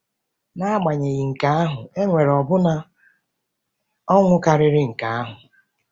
N’agbanyeghị nke ahụ, e nwere ọbụna ọṅụ karịrị nke ahụ.